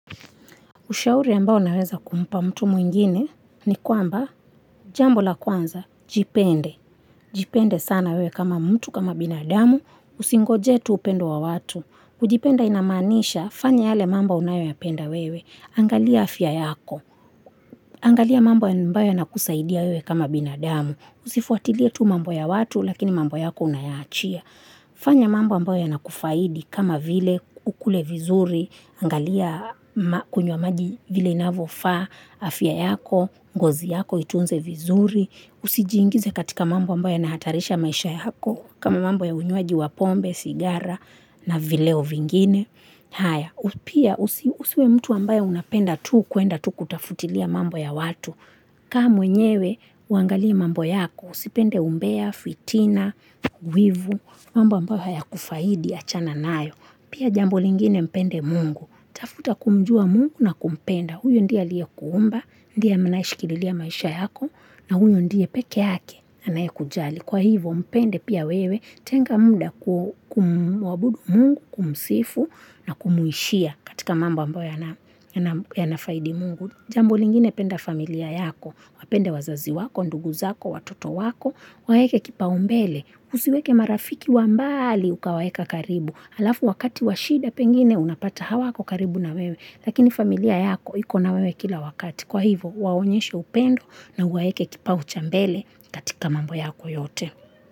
Ushauri ambao naweza kumpa mtu mwingine ni kwamba jambo la kwanza, jipende. Jipende sana wewe kama mtu kama binadamu, usingoje tu upendo wa watu. Kujipenda inamaanisha, fanya yale mambo unayoyapenda wewe. Angalia afya yako, angalia mambo ambayo yanakusaidia wewe kama binadamu. Usifuatilie tu mambo ya watu, lakini mambo yako unayaachia. Fanya mambo ambayo yanakufaidi kama vile ukule vizuri, angalia kunywa maji vile inavyofa, afya yako, ngozi yako, itunze vizuri, usijiingize katika mambo ambayo yanahatarisha maisha yako, kama mambo ya unywaji wa pombe, sigara na vileo vingine. Haya, usiwe mtu ambayo unapenda tu kuenda tu kutafutilia mambo ya watu. Kaa mwenyewe, uangalie mambo yako. Usipende umbea, fitina, wivu, mambo ambayo hayakufaidi, achana nayo. Pia jambo lingine mpende mungu. Tafuta kumjua mungu na kumpenda. Huyo ndiye aliyekuumba, ndiye mnayeshikililia maisha yako, na huyo ndiye pekee yake. Anayekujali. Kwa hivyo, mpende pia wewe, tenga muda kumwabudu mungu kumsifu. Na kumuishia katika mambo ambayo yanafaidi mungu. Jambo lingine penda familia yako, wapende wazazi wako, ndugu zako, watoto wako, waweke kipaumbele, usiweke marafiki wa mbali ukawaweka karibu. Alafu wakati wa shida pengine unapata hawako karibu na wewe, lakini familia yako ikona wewe kila wakati. Kwa hivyo, waonyeshe upendo na uwaweke kipau cha mbele katika mambo yako yote.